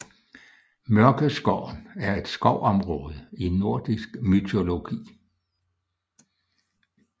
Mørkeskoven er et skovområde i nordisk mytologi